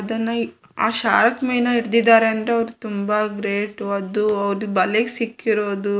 ಅದನ್ನ ಆ ಶಾರ್ಕ್ ಮೀನ್ ಹಿಡಿದಿದ್ದಾರೆ ಅಂದ್ರೆ ಅವ್ರು ತುಂಬಾ ಗ್ರೇಟ್ ಅದು ಬಲೆಗೆ ಸಿಕ್ಕಿರೋದು.